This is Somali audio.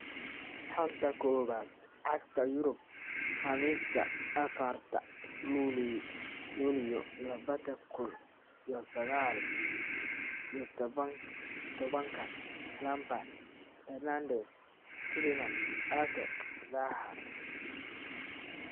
Xanta Kubadda Cagta Yurub Khamiista afarta lulyo labada kuun iyo sagal iyo tobanka: Lampard, Fernandes, Tielemans, Ake, Zaha